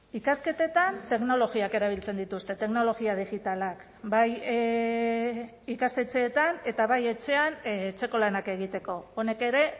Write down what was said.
ikasketetan teknologiak erabiltzen dituzte teknologia digitalak bai ikastetxeetan eta bai etxean etxeko lanak egiteko honek ere